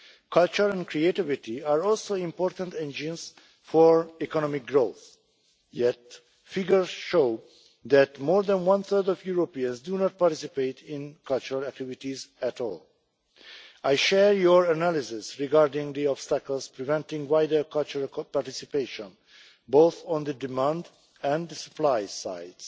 Culture and creativity are also important engines for economic growth, yet figures show that more than one third of Europeans do not participate in cultural activities at all. I share your analysis regarding the obstacles preventing wider cultural participation, both on the demand and supply sides.